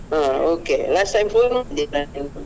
ಹ okay last time phone ಮಾಡಿದ್ಯಲ್ಲ ನೀವು?